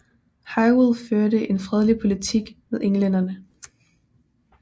Hywel førte en fredelig politik med englænderne